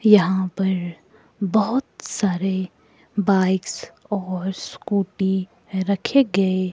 यहां पर बहोत सारे बाइक्स और स्कूटी रखे गए--